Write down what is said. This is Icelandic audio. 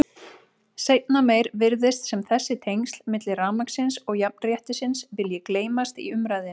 Seinna meir virðist sem þessi tengsl milli rafmagnsins og jafnréttisins vilji gleymast í umræðunni.